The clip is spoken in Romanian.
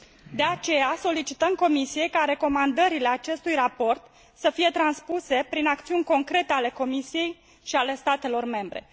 De aceea, solicităm Comisiei ca recomandările acestui raport să fie transpuse prin acțiuni concrete ale Comisiei și ale statelor membre.